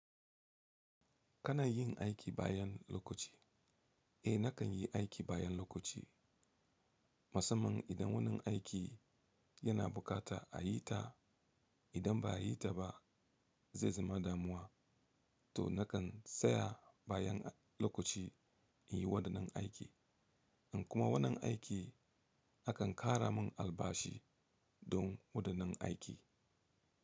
Kana yin aiki bayan lokaci? Eh nakan yi aiki bayan lokaci. Musamman idan wannan aiki yana bukata a yi ta. Idan ba a yi ta ba zai zama damuwa. To nakan tsaya bayan lokaci in yi waɗannan aiki. In kuma wannan aiki akan kara mun albashi don waɗannan aiki.